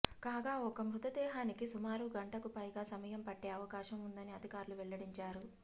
కాగా ఒక్క మృతదేహానికి సుమారు గంటకు పైగా సమయం పట్టే అవకాశం ఉందని అధికారులు వెల్లడించారు